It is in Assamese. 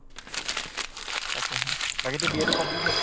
তাকে হে, বাকীতো BA তো complete হʼল?